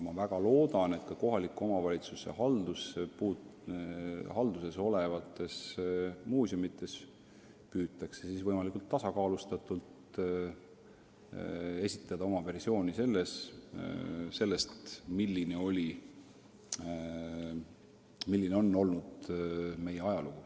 Ma väga loodan, et ka kohaliku omavalitsuse halduses olevates muuseumides püütakse esitada võimalikult tasakaalustatud versioon sellest, milline meie ajalugu olnud on.